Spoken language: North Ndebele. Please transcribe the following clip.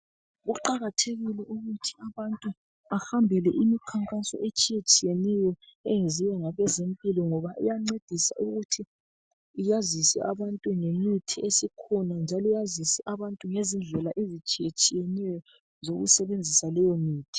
Kuqakathekile ukuthi abantu bahambele imikhankaso etshiyetshiyeneyo eyenziwa ngabezempilo ngoba iyancedisa ukuthi yazise abantu ngemithi esikhona njalo yazise abantu ngezindlela ezitshiyetshiyeneyo zokusebenzisa leyomithi.